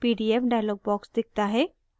pdf dialog box दिखता है